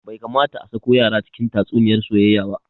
Bai kamata a sako yara cikin tatsuniyar soyayya ba